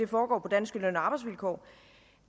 på danske løn og arbejdsvilkår